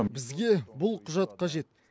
бізге бұл құжат қажет